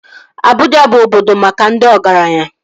Abuja bụ obodo maka ndị ọgaranya